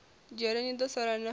dzhele ni do sala na